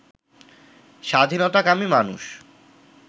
স্বাধীনতাকামী মানুষ